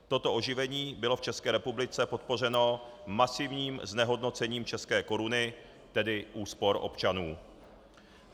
Toto oživení bylo v České republice podpořeno masivním znehodnocením české koruny, tedy úspor občanů.